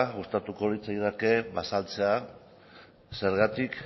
gustatuko litzaidake azaltzea zergatik